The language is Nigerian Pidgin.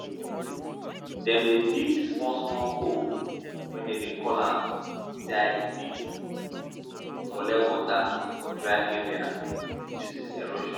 dem dey dig small small hole wey dem dey call call zai pits to collect water for dry areas reduces erosion